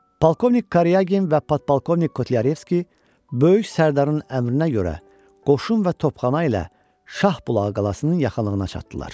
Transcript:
Polkovnik Karyagin və Podpolkovnik Kotlyarevski Böyük Sərdarın əmrinə görə qoşun və topxana ilə Şahbulağı qalasının yaxınlığına çatdılar.